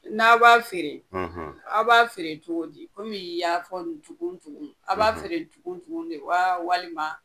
N'a b'a feere , a b'a feere cogo di ?komi i ya fɔ tugun tugun ,a b'a feere tugun tugun de wa, walima